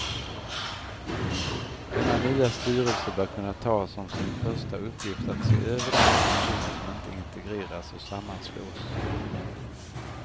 Denna nya styrelse bör kunna ta som sin första uppgift att se över de funktioner som inte integreras och sammanslås.